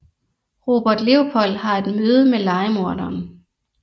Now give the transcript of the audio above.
Robert Leopold har et møde med lejemorderen